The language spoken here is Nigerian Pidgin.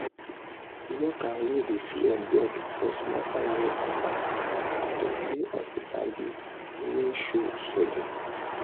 worker wey dey fear beg for small salary advance to pay hospital bill wey show sudden.